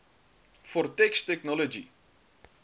for text technology